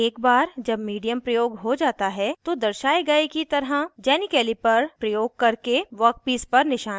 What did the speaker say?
एक बार जब मीडियम प्रयोग हो जाता है तो दर्शाये गए की तरह जेनी कैलिपर प्रयोग करके वर्कपीस पर निशान लगाएं